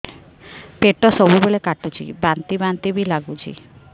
ପେଟ ସବୁବେଳେ କାଟୁଚି ବାନ୍ତି ବାନ୍ତି ବି ଲାଗୁଛି